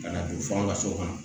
Ka na don fo an ka so kɔnɔ